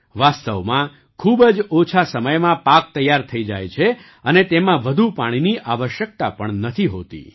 વાસ્તવમાં ખૂબ જ ઓછા સમયમાં પાક તૈયાર થઈ જાય છે અને તેમાં વધુ પાણીની આવશ્યકતા પણ નથી હોતી